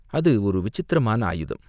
அது ஒரு விசித்திரமான ஆயுதம்.